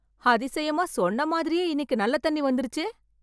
அதிசயமா சொன்ன மாதிரியே இன்னிக்கு நல்ல தண்ணி வந்திருச்சு